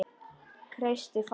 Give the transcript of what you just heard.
Kreisti fastar.